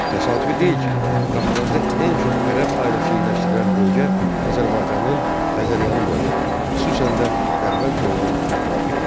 Təsadüfi deyil ki, Qafqazda ən çox ərəb ailəsi yerləşdirilən bölgə Azərbaycanın Xəzəryanı bölgələri, xüsusən də Dərbənd və onun ətrafı idi.